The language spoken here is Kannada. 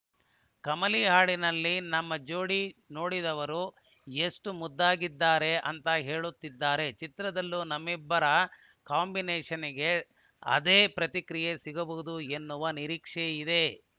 ಕಮಲಿ ಹಾಡಿನಲ್ಲಿ ನಮ್ಮ ಜೋಡಿ ನೋಡಿದವರು ಎಷ್ಟುಮುದ್ದಾಗಿದ್ದಾರೆ ಅಂತ ಹೇಳುತ್ತಿದ್ದಾರೆ ಚಿತ್ರದಲ್ಲೂ ನಮ್ಮಿಬ್ಬರ ಕಾಂಬಿನೇಷ್‌ನ್‌ಗೆ ಅದೇ ಪ್ಪತಿಕ್ರಿಯೆ ಸಿಗಬಹುದು ಎನ್ನುವ ನಿರೀಕ್ಷೆಯಿದೆ